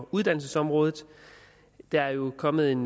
uddannelsesområdet der er jo kommet en